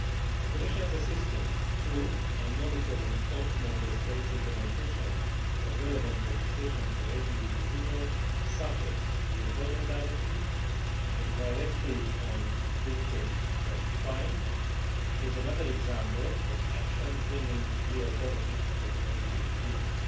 The Commission's assistance to, and monitoring of, Member States' implementation of relevant legislation for LGBT people, such as the Employment Directive or the Directive on Victims of Crime, is another example of action bringing real benefits to LGBT people.